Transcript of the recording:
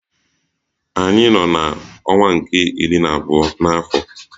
Anyị nọ n'ọnwa nke iri na abụọ n'afọ.